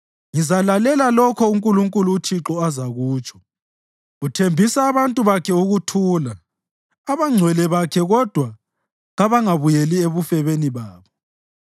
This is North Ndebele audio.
Ngizalalela lokho uNkulunkulu uThixo azakutsho; uthembisa abantu bakhe ukuthula, abangcwele bakhe kodwa kabangabuyeli ebufebeni babo.